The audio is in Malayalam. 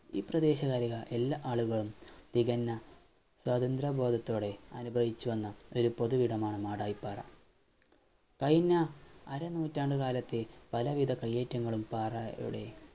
ഈ പ്രദേശകാലിക എല്ലാ ആളുകളും തികഞ്ഞ സ്വതന്ത്ര ബോധത്തോടെ അനുഭവിച്ച് വന്ന ഒരു പൊതു ഇടമാണ് മാടായിപ്പാറ കഴിഞ്ഞ അര നൂറ്റാണ്ടുകാലത്തെ പല വിധ കയ്യേറ്റങ്ങളും പാറ യുടെ